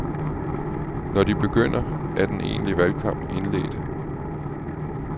Når de begynder, er den egentlige valgkamp indledt.